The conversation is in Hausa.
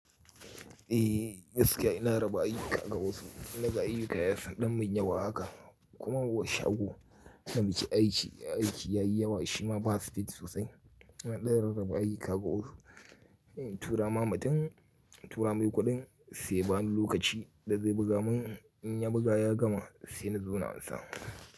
Ehh, gaskiya ina raba aiki ka gaisu, naga aiki ya yi yasa ɗan manya ba haka kuma bashi ago na miki aiki, aiki ya yi yawa shima ba speed sosai. Na ɗera raba aiki ka gaisu, tura ma matan tura mai kuɗin sai bani lokaci da zai buga mun, in ya buga ya gama sai in zo na ansa.